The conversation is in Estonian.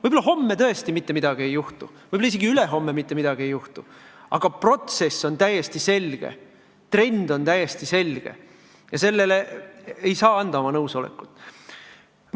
Võib-olla homme tõesti mitte midagi ei juhtu, võib-olla isegi ülehomme mitte midagi ei juhtu, aga protsess on täiesti selge, trend on täiesti selge ja sellele ei saa anda oma nõusolekut.